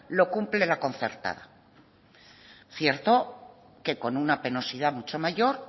lo cumple la concertada cierto que con una penosidad mucho mayor